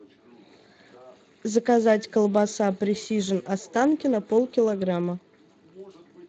заказать колбаса пресижн останкино полкилограмма